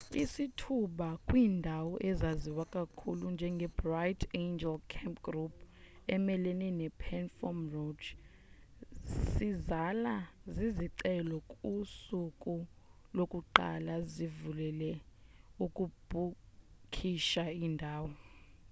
isithuba kwiindawo ezaziwa kakhulu njengebright angel campground emelene nephantom ranch sizala zizicelo kusuku lokuqala zivulelel ukubhukisha indawo